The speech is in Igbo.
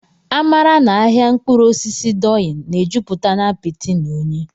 Amara na ahịa mkpụrụ osisi Doyin na-ejupụta na apịtị na unyi.